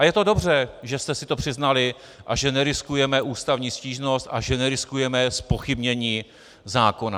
A je to dobře, že jste si to přiznali a že neriskujeme ústavní stížnost a že neriskujeme zpochybnění zákona.